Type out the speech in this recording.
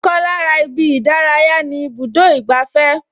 Ọkàn lára ibi ìdárayá ni ibùdó ìgbafẹ́